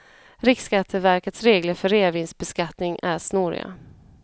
Riksskatteverkets regler för reavinstbeskattning är snåriga.